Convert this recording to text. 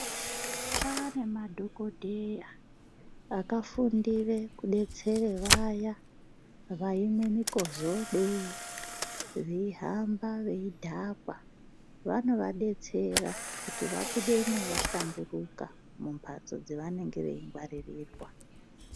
Kwane madhokodheya akafundire kudetsera vaya vaimwa mikizodo, veihamba veidhakwa vanovadetsera kuti vabudemwo vahlamburuka mumbatso dzavanenge veingwaririrwa.